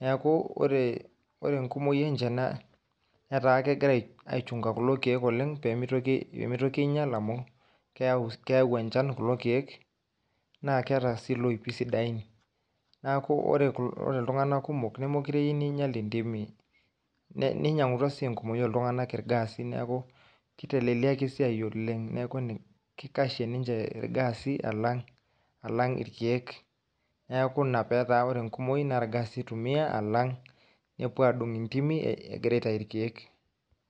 Neeku ore ore enkumoi enje naa netaa kegira aichung'a kulo keek oleng' pee mitoki pee mitoki iinyal amu keeu keeu enchan kulo keek naa keeta sii ilopi sidain. Neeku ore kul ore iltung'anak kumok nemekure eyiu niinyal intimi ninyang'utua sii enkumoi ooltung'anak irgaasi neeku kiteleleliaki esiai oleng'. Neeku kikashie ninje irgaasi alang' irkeek, neeku ina petaa ore enkumoi irgaasi itumia alang' nepuo aadung' intimi egira aitayu irkeek.